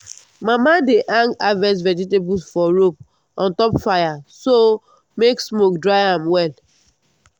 mama dey hang harvest vegetables for rope on top fire so make smoke dry am well.